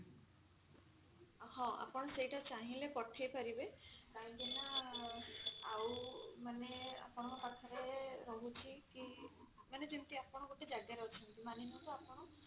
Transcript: ହଁ ତ ସେଇଟା ଚାହିଁଲେ ପଠେଇ ପାରିବେ କାହିଁକି ନା ଆଉ ମାନେ ଆପଣଙ୍କ ପାଖରେ ରହୁଛି କି ମାନେ ଯେମତି ଆପଣ ଗୋଟେ ଜାଗା ରେ ଅଛନ୍ତି ମାନି ନିଅନ୍ତୁ ଆପଣ ଅଛନ୍ତି